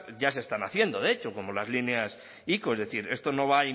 ya se están haciendo de hecho como las líneas ico es decir esto no va